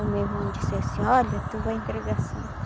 O meu irmão disse assim, olha, tu vai entregar a santa.